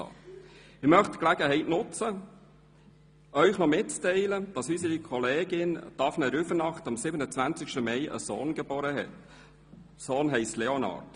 Ich möchte die Gelegenheit nutzen, Ihnen mitzuteilen, dass unsere Kollegin Daphné Rüfenacht am 27. Mai einen Sohn mit Namen Leonard geboren hat.